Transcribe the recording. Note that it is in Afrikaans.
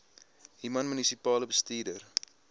human munisipale bestuurder